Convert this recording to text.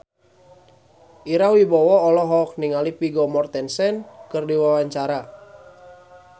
Ira Wibowo olohok ningali Vigo Mortensen keur diwawancara